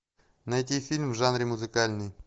найти фильм в жанре музыкальный